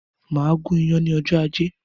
Màá gún iyán ní ọjọ́ ajé.